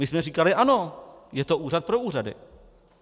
My jsme říkali ano, je to úřad pro úřady.